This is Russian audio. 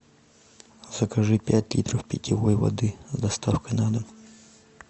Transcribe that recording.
закажи пять литров питьевой воды с доставкой на дом